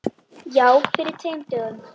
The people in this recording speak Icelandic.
Já, fyrir tveim dögum.